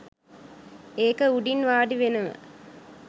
ඒක උඩින් වාඩි වෙනව.